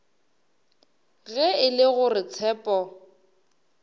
ge e le gore tshepo